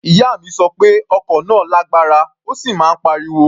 Ìyá mi sọ pé ọkọ̀ náà lágbára, ó sì máa ń pariwo.